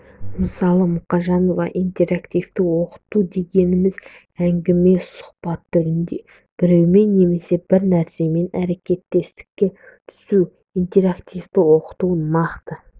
мысалы мұқажанов интерактивтік оқыту дегеніміз әңгіме сұхбат түрінде біреумен немесе бір нәрсемен әрекеттестікке түсу интерактивтік оқыту нақты